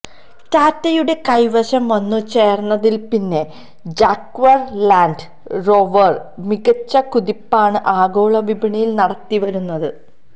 ടാറ്റയുടെ കൈവശം വന്നു ചേര്ന്നതില്പ്പിന്നെ ജാഗ്വര് ലാന്ഡ് റോവര് മികച്ച കുതിപ്പാണ് ആഗോളവിപണിയില് നടത്തിവരുന്നത്